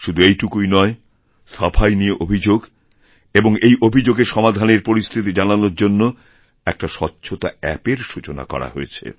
শুধু এইটুকুই নয় সাফাই নিয়ে অভিযোগ এবংএই অভিযোগের সমাধানের পরিস্থিতি জানানোর জন্য একটা স্বচ্ছতা অ্যাপএর সূচনা করাহয়েছে